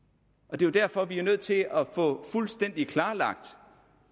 det er derfor at vi er nødt til at få fuldstændig klarlagt